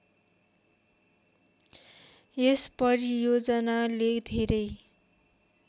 यस परियोजनाले धेरै